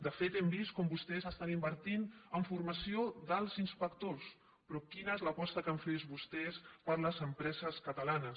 de fet hem vist com vostès estan invertint en formació d’alts inspectors però quina és l’aposta que han fet vostès per a les empreses catalanes